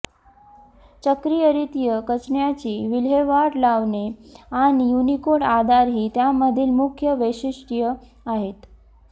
चक्रीयरित्या कचऱ्याची विल्हेवाट लावणे आणि युनिकोड आधार ही त्यामधील मुख्य वैशिष्ठ्ये आहेत